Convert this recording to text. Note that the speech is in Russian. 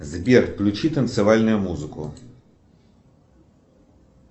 сбер включи танцевальную музыку